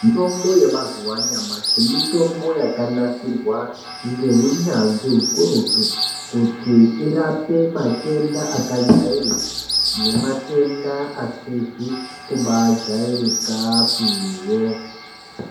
Mutombo yemazuva anyamashi mitombo yakanasirwa ngeunyanzvi hukurutu kuti irape matenda akajairika nematenda asizi kujairikapiwo.